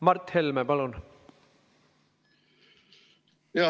Mart Helme, palun!